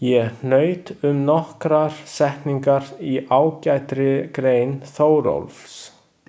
Ég hnaut um nokkrar setningar í ágætri grein Þórólfs.